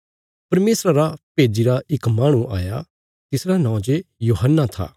परमेशरा रा भेज्जिरा इक माहणु आया तिसरा नौं जे यूहन्ना था